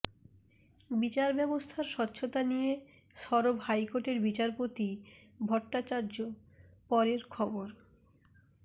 বিচারব্যবস্থার স্বচ্ছতা নিয়ে সরব হাইকোর্টের বিচারপতি ভট্টাচার্য পরের খবর